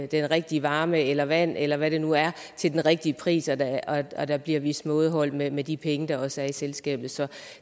den rigtige varme eller vand eller hvad det nu er til den rigtige pris og at der bliver vist mådehold med med de penge der også er i selskabet så